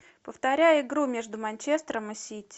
повторяй игру между манчестером и сити